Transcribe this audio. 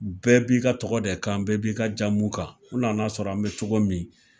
Bɛɛ b'i ka tɔgɔ de kan, bɛɛ b'i ka jamu kan, u nan'a sɔrɔ an bɛ cogo min,